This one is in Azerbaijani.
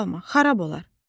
ancaq çalma, xarab olar.